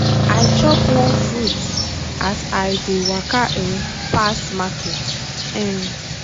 i chop one fruit as i dey waka um pass market. um